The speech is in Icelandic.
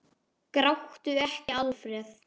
Gráttu ekki, Alfreð!